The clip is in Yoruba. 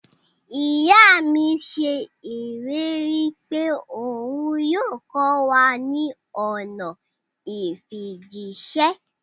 Iya mi ṣe ileri pe oun yoo kọ wa ni ọna ifijiṣẹ.